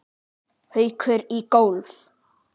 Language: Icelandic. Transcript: Haukur í golf.